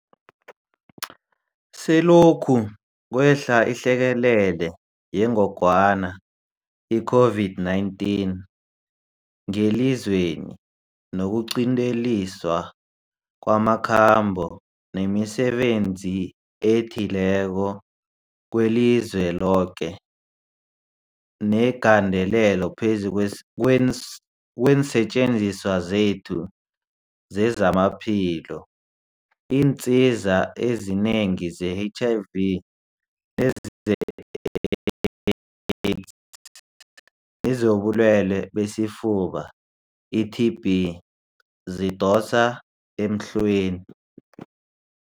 Selokhu kwehla ihlekelele yengogwana i-COVID-19 ngelizweni, nokuqinteliswa kwamakhambo nemisebenzi ethileko kwelizweloke negandelelo phezu kweensetjenziswa zethu zezamaphilo, iinsiza ezinengi ze-HIV neze-AIDS nezobuLwele besiFuba, i-TB, zidosa emhlweni.